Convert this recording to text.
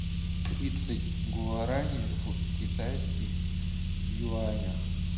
тридцать гуараней в китайских юанях